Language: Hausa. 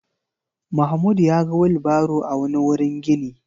Mahmud ya ga wilbaro a wani wurin gini.